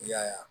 I y'a ye